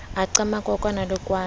a qamaka kwana le kwana